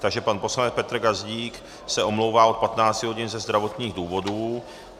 Takže pan poslanec Petr Gazdík se omlouvá od 15 hodin ze zdravotních důvodů.